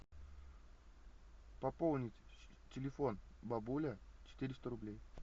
пополнить телефон бабули четыреста рублей